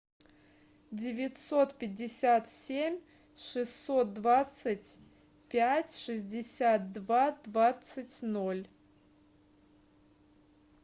девятьсот пятьдесят семь шестьсот двадцать пять шестьдесят два двадцать ноль